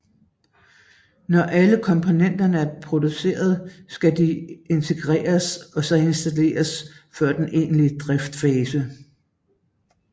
Når alle komponenter er produceret skal de integreres og så installeres før den egentlige driftsfase